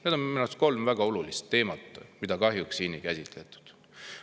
Need on minu arust kolm väga olulist teemat, mida kahjuks siin ei käsitletud.